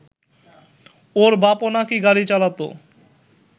ওর বাপও নাকি গাড়ি চালাত